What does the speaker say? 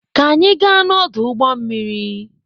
ka anyị gaa n'ọdụ ụgbọ mmiri.